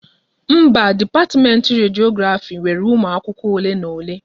Mba, dipatiment Rediografi nwere umụ akwụkwọ ole na ole